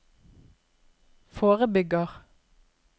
forebygger